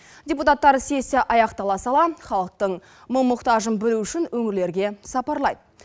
депутаттар сессия аяқтала сала халықтың мұң мұқтажын білу үшін өңірлерге сапарлайды